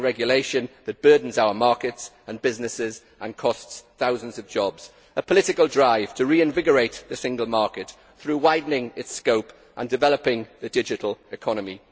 slashing regulation that burdens our markets and businesses and costs thousands of jobs a political drive to reinvigorate the single market through widening its scope and developing the digital economy